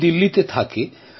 ও দিল্লিতে থাকে